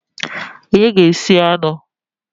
Onye ga-esi anụ?